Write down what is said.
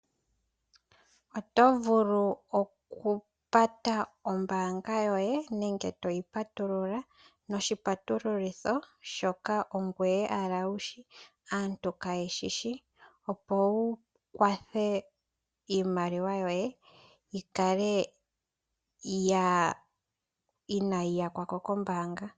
Oto vulu okupata ombaanga yoye nenge okupatulula noshipatululitho shoka ongoye owala to kala wuyi shi aantu kaaye shi shi opo wu kwathe iimaliwa yoye yikale inaayi yakwa ko kombaanga.